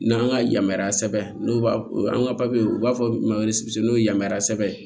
N'an ka yamaruya sɛbɛn n'u b'a o ka papiyew u b'a fɔ ma n'o ye yamaruya sɛbɛn ye